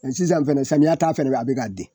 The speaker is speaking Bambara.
sisan fɛnɛ samiya ta fɛnɛ bɛ a bɛ ka den.